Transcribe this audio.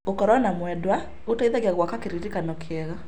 Gũkorwo na mwendwa gũteithagia gwaka kĩririkano kĩega.